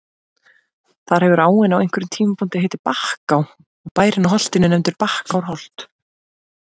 Þar hefur áin á einhverjum tímapunkti heitið Bakká og bærinn á holtinu nefndur Bakkárholt.